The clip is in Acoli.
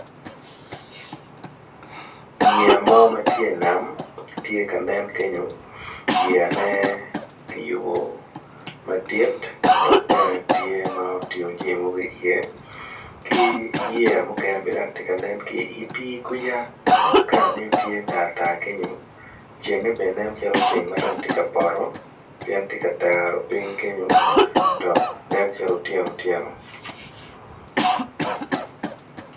Yeya mo matye i nam tye ka nen kenyo yeya man kiyubo madit dok bene tye ma otingo jami mogo i ye ki yeya mukene tye ka nen ki i pi kuca kala ne tye tartar kenyo, cenge bene nen calo ceng matye ka poto pien tye ka taro ping kenyo dok nen calo otyeno otyeno.